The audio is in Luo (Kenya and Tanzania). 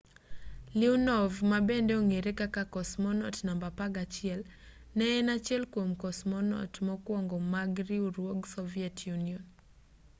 leonov ma bende ong'ere kaka cosmonaut namba 11 ne en achiel kwom cosmonaut mokwongo mag riwruog soviet union